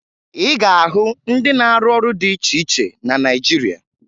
Ị ga-ahụ ndị na-arụ ọrụ dị iche iche na Naịjirịa